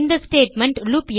இந்த ஸ்டேட்மெண்ட்